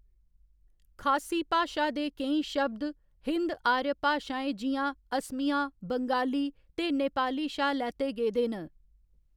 खासी भाशा दे केईं शब्द हिन्द आर्य भाशाएं जि'यां असमिया, बंगाली ते नेपाली शा लैते गेदे न।